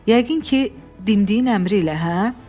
Yəqin ki, dimdiyin əmri ilə, hə?